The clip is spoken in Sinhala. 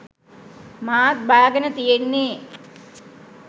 මාත් බාගෙන තියෙන්නේ